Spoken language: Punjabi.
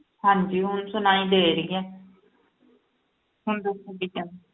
ਹਾਂਜੀ ਹੁਣ ਸੁਣਾਈ ਦੇ ਰਹੀ ਹੈ ਹੁਣ ਦੱਸੋ ਕੀ ਕਹਿੰਦੇ,